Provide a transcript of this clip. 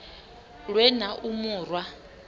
lwe na u mu rwa